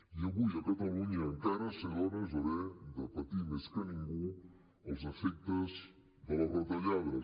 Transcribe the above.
i avui a catalunya encara ser dona és haver de patir més que ningú els efectes de les retallades